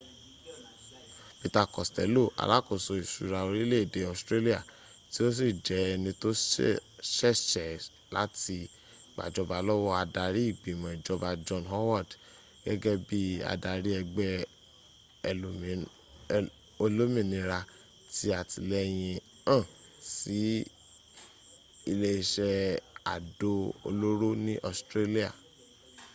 peter costello alákòso ìsúra orílè-èdè australia tí o si jẹ ẹni tó sẹẹsẹẹ láti gbàjọba lówó adarí ìgbìmò ìjọba john howard gẹ́gẹ́ bi adarí ẹgbẹ´ oẹlómìnira tí àtíléyìn hán sí ilẹ́ isẹ́ àdó olóró ní australia